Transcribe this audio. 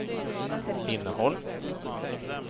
innehåll